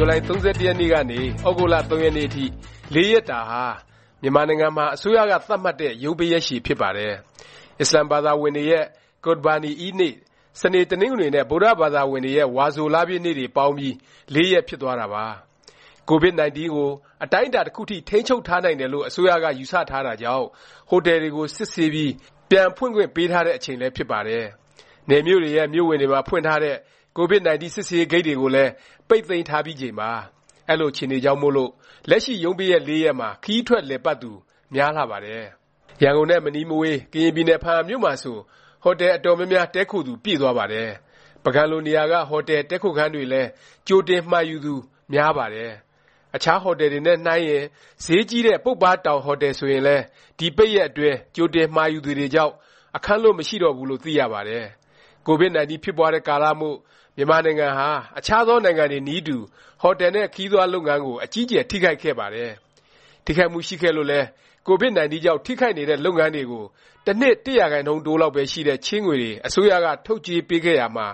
ဇူလိုင် ၃၁ ရက်နေ့ကနေ ၃ ရက်နေ့အထိ (၄) ရက်တာဟာ မြန်မာနိုင်ငံမှာ အစိုးရက သတ်မှတ်တဲ့ ရုံးပိတ်ရက်ရှည် ဖြစ်ပါတယ်။ အစ္စလာမ်ဘာသာဝင်တွေရဲ့ ကုရ်ဘာနီအီးဒ်နေ့၊ စနေ၊ တနင်္ဂနွေ နဲ့ ဗုဒ္ဓဘာသာဝင်တွေရဲ့ ဝါဆိုလပြည့်နေ့ တွေပေါင်းပြီး ၄ ရက်ဖြစ်သွားတာပါ။ ကိုဗစ်-19 ကို အတိုင်းအတာ တစ်ခုအထိ ထိန်းချုပ်ထားနိုင်တယ်လို့ အစိုးရက ယူဆထားတာကြောင့် ဟိုတယ်တွေကို စစ်ဆေးပြီး ပြန်ဖွင့်ခွင့်ပေးထားတဲ့ အချိန်လည်း ဖြစ်ပါတယ်။ နယ်မြို့တွေရဲ့ မြို့ဝင်တွေမှာ ဖွင့်ထားတဲ့ ကိုဗစ်-19 စစ်ဆေးရေး ဂိတ်တွေကိုလည်း ပိတ်သိမ်းထားပြီးချိန်ပါ။ အဲလို အခြေအနေတွေကြောင့်မို့လို့ လက်ရှိ ရုံးပိတ်ရက် ၄ ရက်မှာ ခရီးထွက် လည်ပတ်သူ များလှပါတယ်။ ရန်ကုန်နဲ့ မနီးမဝေး ကရင်ပြည်နယ် ဘားအံမြို့မှာဆို ဟိုတယ် အတော်များများ တည်းခိုသူ ပြည့်သွားပါတယ်။ ပုဂံလိုနေရာက ဟိုတယ်၊ တည်းခိုခန်းတွေလည်း ကြိုတင်မှာယူသူ များပါတယ်။ အခြားဟိုတယ်တွေနဲ့ နှိုင်းရင် ဈေးကြီးတဲ့ ပုပ္ပါးတောင်ဟိုတယ်ဆိုရင်လည်း ဒီ ပိတ်ရက်အတွင်း ကြိုတင်မှာယူသူတွေကြောင့် အခန်းလွတ် မရှိတော့ဘူးလို့ သိရပါတယ်။ ကိုဗစ်-19 ဖြစ်ပွားတဲ့ကာလမို့ မြန်မာနိုင်ငံဟာ အခြားသောနိုင်ငံတွေနည်းတူ ဟိုတယ်နဲ့ ခရီးသွားလုပ်ငန်းကို အကြီးအကျယ် ထိခိုက်ခဲ့ပါတယ်။ ထိခိုက်မှု ရှိခဲ့လို့လည်း ကိုဗစ်-19 ကြောင့် ထိခိုက်နေတဲ့ လုပ်ငန်းတွေကို တစ်နှစ် ၁% တိုးလောက်ပဲ ရှိတဲ့ ချေးငွေတွေ အစိုးရက ထုတ်ချေးပေးခဲ့ရာမှာ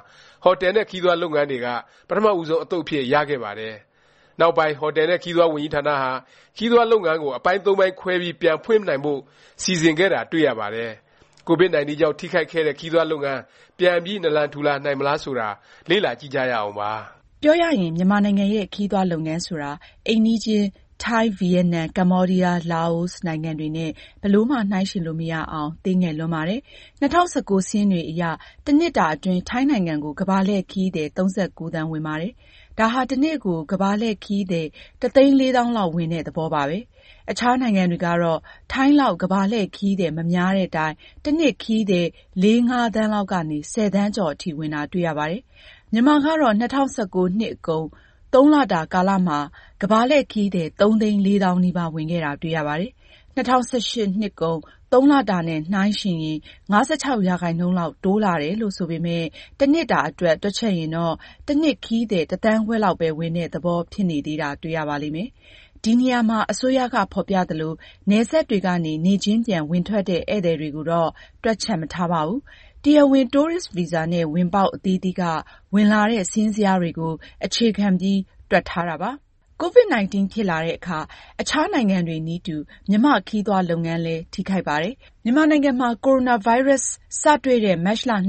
ဟိုတယ်နဲ့ ခရီးသွားလုပ်ငန်းတွေက ပထမဦးဆုံး အသုတ်အဖြစ် ရခဲ့ပါတယ်။ နောက်ပိုင်း ဟိုတယ်နဲ့ ခရီးသွားဝန်ကြီးဌာနဟာ ခရီးသွားလုပ်ငန်းကို အပိုင်း(၃)ပိုင်းခွဲပြီး ပြန် ဖွင့်နိုင်ဖို့ စီစဉ်ခဲ့တာ တွေ့ရပါတယ်။ ကိုဗစ်-19 ကြောင့် ထိခိုက်ခဲ့တဲ့ ခရီးသွားလုပ်ငန်း ပြန်ပြီး နာလံထူလာနိုင်မလား ဆိုတာ လေ့လာကြည့်ကြရအောင်ပါ။ ပြောရရင် မြန်မာနိုင်ငံရဲ့ ခရီးသွားလုပ်ငန်းဆိုတာ အိမ်နီးချင်း ထိုင်း၊ ဗီယက်နမ်၊ ကမ္ဘောဒီးယား၊ လာအိုနိုင်ငံတွေနဲ့ ဘယ်လိုမှ နှိုင်းယှဉ်လို့ မရအောင် သေးငယ်လွန်းပါတယ်။ ၂၀၁၉ စာရင်းတွေအရ တစ်နှစ်တာ အတွင်း ထိုင်းနိုင်ငံကို ကမ္ဘာလှည့်ခရီးသည် ၃၉ သန်းဝင်ပါတယ်။ ဒါဟာ တစ်နေ့ကို ကမ္ဘာလှည့်ခရီးသည် ၁၄၀၀၀၀ (တသိန်းလေးသောင်း) လောက် ဝင်တဲ့ သဘောပါပဲ။ အခြားနိုင်ငံတွေကတော့ ထိုင်းလောက် ကမ္ဘာလှည့်ခရီးသည် မများသည့်တိုင် တစ်နှစ် ခရီးသည် ၄-၅ သန်းလောက်ကနေ ၁၀ သန်းကျော်အထိ ဝင်တာ တွေ့ရပါတယ်။ မြန်မာကတော့ ၂၀၁၉ နှစ်ကုန် သုံးလတာ ကာလမှာ ကမ္ဘာလှည့်ခရီးသည် ၃ သိန်း ၄ သောင်းနီးပါး ဝင်ခဲ့တာ တွေ့ရပါတယ်။ ၂၀၁၈ နှစ်ကုန် ၃ လတာနဲ့ နှိုင်းရင် ၅၆% လောက် တိုးတက်လာတယ်လို့ ဆိုပေမယ့် တစ်နှစ်တာအတွက် တွက်ချက်ရင်တော့ တစ်နှစ် ခရီးသည် တစ်သန်းခွဲလောက်ပဲ ဝင်တဲ့ သဘောဖြစ်နေသေးတာ တွေ့ရပါလိမ့်မယ်။ ဒီနေရာမှာ အစိုးရက ဖော်ပြသလို၊ နယ်စပ်တွေကနေ နေ့ချင်းပြန် ဝင်ထွက်တဲ့ ဧည့်သည်တွေကိုတော့ တွက်ချက်မထားပါဘူး။ တရားဝင် တိုးရစ်ဗီဇာနဲ့ ဝင်ပေါက် အသီးသီးက ဝင်လာတဲ့ စာရင်းဇယားတွေကို အခြေခံပြီး တွက်ထားတာပါ။ ကိုဗစ်-19 ဖြစ်လာတဲ့အခါ အခြားနိုင်ငံတွေနည်းတူ မြန်မာ့ ခရီးသွားလုပ်ငန်းလည်း ထိခိုက်ပါတယ်။ မြန်မာနိုင်ငံမှာ ကိုဗစ်-19 စတွေ့တဲ့ မတ်လ ၂၃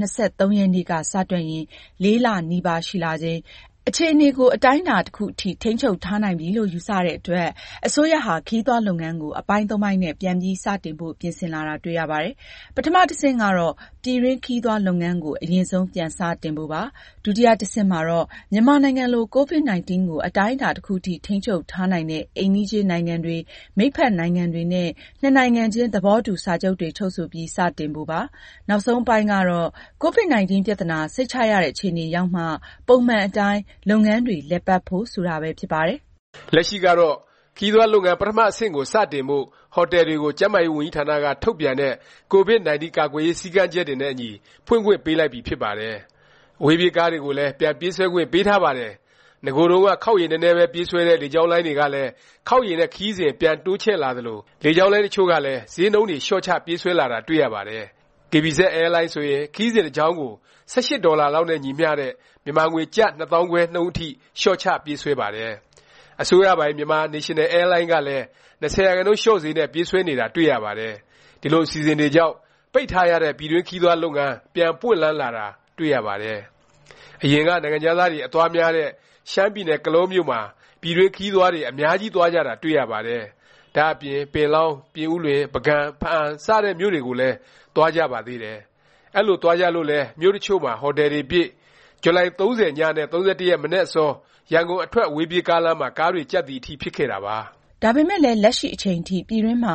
ရက်နေ့က စတွက်ရင် ၄ လ နီးပါးရှိလာချိန်၊ အခြေအနေကို အတိုင်းအတာ တစ်ခုအထိ ထိန်းချုပ်ထားနိုင်ပြီလို့ ယူဆတဲ့အတွက် အစိုးရဟာ ခရီးသွားလုပ်ငန်းကို အပိုင်း ၃ ပိုင်းနဲ့ ပြန်ပြီး စတင်ဖို့ ပြင်ဆင်လာတာ တွေ့ရပါတယ်။ ပထမ တဆင့်ကတော့ ပြည်တွင်း ခရီးသွားလုပ်ငန်းကို အရင်ဆုံး ပြန်စတင်ဖို့ပါ။ ဒုတိယ အဆင့်မှာတော့ မြန်မာနိုင်ငံလို ကိုဗစ်-19 ကို အတိုင်းအတာ တစ်ခုအထိ ထိန်းချုပ်ထားနိုင်တဲ့ အိမ်နီးချင်းနိုင်ငံတွေ၊ မိတ်ဖက် နိုင်ငံတွေနဲ့ နှစ်နိုင်ငံချင်း သဘောတူ စာချုပ်တွေ ချုပ်ဆိုပြီး စတင်ဖို့ပါ။ နောက်ဆုံးအပိုင်းကတော့ ကိုဗစ်-19 ပြသနာ စိတ်ချရတဲ့ အခြေအနေရောက်မှ ပုံမှန်အတိုင်း လုပ်ငန်းတွေလည်ပတ်ဖို့ ဆိုတာပဲ ဖြစ်ပါတယ်။ လက်ရှိကတော့ ခရီးသွားလုပ်ငန်း ပထမ အဆင့်ကို စတင်ဖို့ ဟိုတယ်တွေကို ကျန်းမာရေးဝန်ကြီးဌာနက ထုတ်ပြန်တဲ့ ကိုဗစ်-19 ကာကွယ်ရေး စည်းကမ်းချက်တွေနဲ့အညီ ဖွင့်ခွင့်ပေးလိုက်ပြီဖြစ်ပါတယ်။ အဝေးပြေးကားတွေကိုလည်း ပြန်ပြေးဆွဲခွင့်ပေးထားပါတယ်။ နဂိုတုန်းက ခေါက်ရေနည်းနည်းပဲ ပြေးဆွဲတဲ့ လေကြောင်းလိုင်းတွေကလည်း ခေါက်ရေနဲ့ ခရီးစဉ် ပြန်တိုးချဲ့လာသလို လေကြောင်းလိုင်းတစ်ချို့လည်း ဈေးနှုန်းတွေ လျော့ချ ပြေးဆွဲလာတာ တွေ့ရပါတယ်။ KBZ အဲလိုင်းဆိုရင် ခရီးစဉ်တစ်ကြောင်းကို ၁၈ ဒေါ်လာလောက်နဲ့ ညီမျှတဲ့ မြန်မာငွေ ကျပ် ၂၅၀၀၀ နှုန်းအထိ လျော့ချပြေးဆွဲပါတယ်။ အစိုးရပိုင် Myanmar National Airline ကလည်း ၂၀% လျော့ဈေးနဲ့ ပြေးဆွဲနေတာ တွေ့ရပါတယ်။ ဒီလို အစီအစဉ်တွေကြောင့် ပိတ်ထားရတဲ့ ပြည်တွင်းခရီးသွားလုပ်ငန်း ပြန်ပွင့်လန်းလာတာ တွေ့ရပါတယ်။ အရင်က နိုင်ငံခြားသားတွေ အသွားများတဲ့ ရှမ်းပြည်နယ် ကလောမြို့မှာ ပြည်တွင်းခရီးသွားတွေ အများကြီးသွားကြတာ တွေ့ရပါတယ်။ ဒါ့အပြင် ပင်လောင်း၊ ပြင်ဦးလွင်၊ ပုဂံ၊ ဘားအံစတဲ့ မြို့တွေကိုလည်း သွားကြပါတယ်။ အဲလို သွားကြလို့လည်း မြို့တစ်ချို့မှာ ဟိုတယ်တွေပြည့်၊ ဇူလိုင် ၃၀ ည နဲ့ ၃၁ မနက်အစော ရန်ကုန်အထွက် အဝေးပြေးကားလမ်းမှာ ကားတွေကြပ်သည် အထိ ဖြစ်ခဲ့တာပါ။ ဒါပေမယ့်လည်း လက်ရှိအချိန်ထိ ပြည်တွင်းမှာ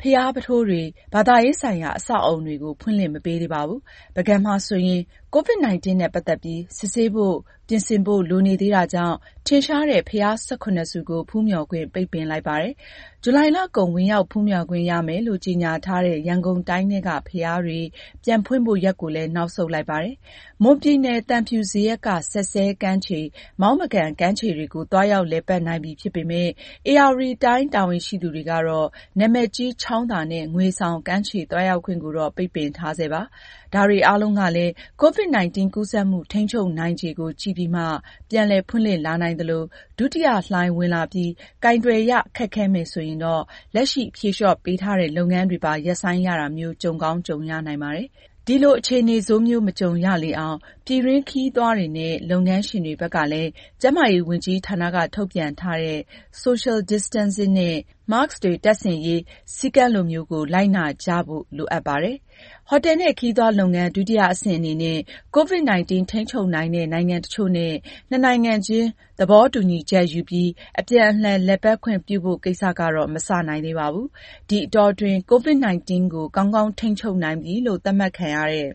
ဘုရားပုထိုးတွေ၊ ဘာသာရေးဆိုင်ရာ အဆောက်အဦတွေကို ဖွင့်လှစ် မပေးသေးပါဘူး။ ပုဂံမှာဆိုရင် ကိုဗစ်-19 နဲ့ ပတ်သက်ပြီး စစ်ဆေးဖို့ ပြင်ဆင်ဖို့ လိုနေသေးတာကြောင့် ထင်ရှားတဲ့ ဘုရား ၁၇ ဆူကို ဖူးမျှော်ခွင့် ပိတ်ပင်လိုက်ပါတယ်။ ဇူလိုင်လကုန် ဝင်ရောက်ဖူးမျှော်ခွင့်ရမယ်လို့ ကြေငြာထားတဲ့ ရန်ကုန်တိုင်းထဲက ဘုရားတွေ ပြန်ဖွင့်ဖို့ ရက်ကိုလည်း နောက်ဆုတ်လိုက်ပါတယ်။ မွန်ပြည်နယ် သံဖြူဇရပ်က စက်စဲကမ်းခြေ၊ မောင်းမကန် ကမ်းခြေတွေကို သွားရောက်လည်ပတ်နိုင်ပြီ ဖြစ်ပေမယ့် ဧရာဝတီတိုင်းတာဝန်ရှိသူတွေကတော့ နာမည်ကြီး ချောင်းသာနဲ့ ငွေဆောင် ကမ်းခြေ သွားရောက်ခွင့်ကိုတော့ ပိတ်ပင်ထားဆဲပါ။ ဒါတွေအားလုံးကလည်း ကိုဗစ်-19 ကူးစက်မှု ထိန်းချုပ်နိုင်ခြေကို ကြည့်ပြီးမှ ပြန်လည်ဖွင့်လှစ်လာနိုင်သလို၊ ဒုတိယလှိုင်း ဝင်လာပြီး ကိုင်တွယ်ရ ခက်ခဲမယ် ဆိုရင်တော့ လက်ရှိ ဖြေလျော့ပေးထားတဲ့ လုပ်ငန်းတွေပါ ရပ်ဆိုင်းရတာမျိုး ကြုံကောင်း ကြုံရနိုင်ပါတယ်။ ဒီလို အခြေအနေဆိုးမျိုး မကြုံရလေအောင် ပြည်တွင်းခရီးသွားတွေနဲ့ လုပ်ငန်းရှင်တွေဘက်ကလည်း ကျန်းမာရေးဝန်ကြီးဌာနက ထုတ်ပြန်ထားတဲ့ social distancing နဲ့ Mask တပ်ဆင်ရေး စည်းကမ်းလိုမျိုးကို လိုက်နာကြဖို့ လိုအပ်ပါတယ်။ ဟိုတယ်နဲ့ ခရီးသွားလုပ်ငန်း ဒုတိယ အဆင့်အနေနဲ့ ကိုဗစ်-19 ထိန်းချုပ်နိုင်တဲ့ နိုင်ငံတစ်ချို့နဲ့ နှစ်နိုင်ငံချင်း သဘောတူညီချက်ယူပြီး အပြန်အလှန် လည်ပတ်ခွင့်ပြုဖို့ ကိစ္စကတော့ မစနိုင်သေးပါဘူး။ ဒီအတောအတွင်း ကိုဗစ်-19 ကို ကောင်းကောင်းထိန်းချုပ်နိုင်ပြီလို့ သတ်မှတ်ခံရတဲ့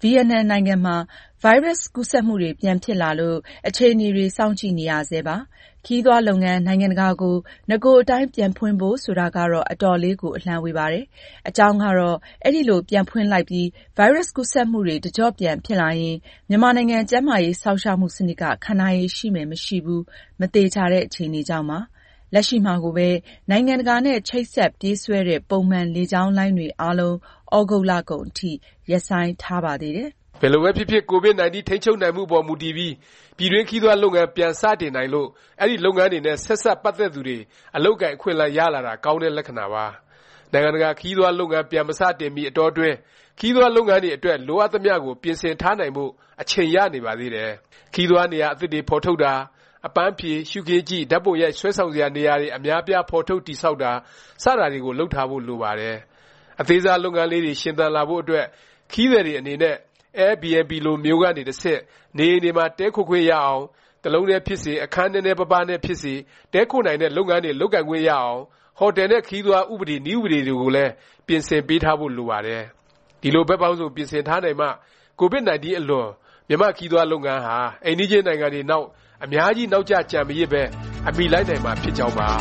ဗီယက်နမ်နိုင်ငံမှာ ဗိုင်းရပ်စ် ကူးစက်မှုတွေ ပြန်ဖြစ်လာလို့ အခြေအနေတွေ စောင့်ကြည့်နေရဆဲပါ။ ခရီးသွားလုပ်ငန်း နိုင်ငံတကာကို နဂိုအတိုင်း ပြန်ဖွင့်ဖို့ ဆိုတာကတော့ အတော်လေးကို အလှမ်းဝေးပါတယ်။ အကြောင်းကတော့ အဲလို ပြန်ဖွင့်လိုက်ပြီး ဗိုင်းရပ်စ် ကူးစက်မှုတွေ တစ်ကျော့ပြန်ဖြစ်လာရင် မြန်မာနိုင်ငံ ကျန်းမာရေး စောင့်ရှောက်မှု စနစ်က ခံနိုင်ရည် ရှိမယ်၊ မရှိဘူး လက်ရှိမှာကိုပဲ နိုင်ငံတကာနဲ့ ချိတ်ဆက်ပြေးဆွဲတဲ့ ပုံမှန် လေကြောင်းလိုင်းတွေအားလုံး သြဂုတ်လကုန်အထိ ရပ်ဆိုင်းထားပါသေးတယ်။ ဘယ်လိုပဲဖြစ်ဖြစ် ကိုဗစ်-19 ထိန်းချုပ်နိုင်မှုအပေါ်မူတည်ပြီး ပြည်တွင်းခရီးသွားလုပ်ငန်း ပြန်စတင်နိုင်လို့ အဲဒီလုပ်ငန်းတွေနဲ့ ဆက်စပ်ပတ်သက်သူတွေ အလုပ်အကိုင် အခွင့်အလမ်း ရလာတာကောင်းတဲ့ လက္ခဏာပါ။ နိုင်ငံတကာ ခရီးသွားလုပ်ငန်း ပြန်မစတင်မီ အတောအတွင်း ခရီးသွားလုပ်ငန်းအတွက် လိုအပ်သမျှကို ပြင်ဆင်ထားနိုင်ဖို့ အချိန်ရနေပါသေးတယ်။ ခရီးသွားနေရာ အသစ်တွေ ဖော်ထုတ်တာ၊ အပန်းဖြေ၊ ရှုခင်းကြည့်၊ ဓာတ်ပုံရိုက် ဆွဲဆောင်စရာ နေရာတွေ အများအပြား ဖော်ထုတ် တည်ဆောက်တာ စတာတွေကို လုပ်ထားဖို့ လိုပါတယ်။ အသေးစား လုပ်ငန်းလေးတွေ ရှင်သန်လာဖို့ အတွက်၊ ခရီးသည်တွေ အနေနဲ့ Airbnb လိုမျိုးကနေ တဆင့် နေအိမ်တွေမှာ တည်းခိုခွင့်ရအောင်၊ တစ်လုံးတည်းဖြစ်စေ၊ အခန်းနည်းနည်းပါးပါးနဲ့ဖြစ်စေ တည်းခိုနိုင်တဲ့ လုပ်ငန်းတွေ လုပ်ခွင့်ရအောင် ဟိုတယ်နဲ့ ခရီးသွား ဥပဒေ၊ နည်းဥပဒေ တွေကိုလည်း ပြင်ဆင်ပေးထားဖို့ လိုပါတယ်။ ဒီလို ဘက်ပေါင်းစုံ ပြင်ဆင်ထားနိုင်မှ ကိုဗစ်-19 အလွန် မြန်မာ့ခရီးသွားလုပ်ငန်းဟာ အိမ်နီးချင်းနိုင်ငံတွေနောက် အများကြီး နောက်ကျ ကျန်မရစ်ပဲ အမှီလိုက်နိုင်မှာ ဖြစ်ကြောင်းပါ။